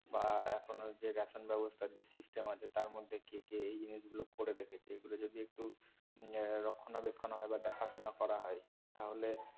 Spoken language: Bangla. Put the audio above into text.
বা এখনো যে ration ব্যবস্তার যে system আছে তার মধ্যে কে কে এই জিনিসগুলো করে দেখেছে এইগুলো যদি একটু এর রক্ষনাবেক্ষন হয় বা দেখাশুনা করা হয় তাহলে